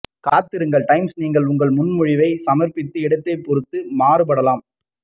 காத்திருங்கள் டைம்ஸ் நீங்கள் உங்கள் முன்மொழிவை சமர்ப்பித்த இடத்தைப் பொறுத்து மாறுபடலாம்